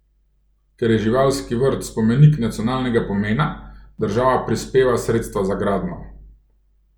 Ker je živalski vrt spomenik nacionalnega pomena, država prispeva sredstva za gradnjo.